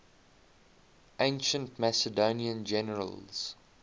ancient macedonian generals